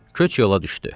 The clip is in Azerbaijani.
Köç yola düşdü.